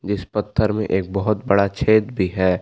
इस पत्थर में एक बहुत बड़ा छेद भी है।